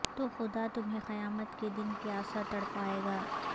تو خدا تمہیں قیامت کے دن پیاسا تڑپائے گا